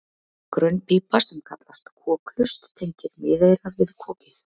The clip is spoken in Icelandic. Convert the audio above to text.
Grönn pípa sem kallast kokhlust tengir miðeyrað við kokið.